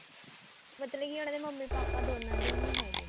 ਮਤਲਬ ਕੀ ਉਹਨਾ ਦੇ ਮੰਮੀ ਪਾਪਾ ਦੋਨਾ ਦੇ ਈ ਨਹੀਂ ਹੈਗੇ